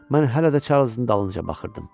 Mən hələ də Çarlzın dalınca baxırdım.